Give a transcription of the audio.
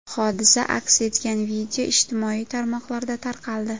Hodisa aks etgan video ijtimoiy tarmoqlarda tarqaldi .